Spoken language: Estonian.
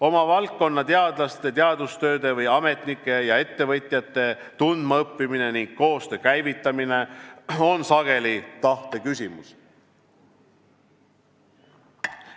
Oma valdkonna teadlaste, teadustööde või ametnike ja ettevõtjate tundmaõppimine ning koostöö käivitamine on sageli tahte küsimus.